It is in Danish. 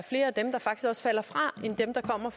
kommer